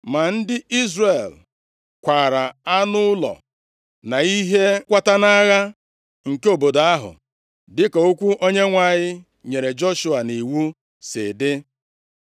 Ma ndị Izrel kwaara anụ ụlọ, na ihe nkwata nʼagha nke obodo ahụ, dịka okwu Onyenwe anyị nyere Joshua nʼiwu si dị.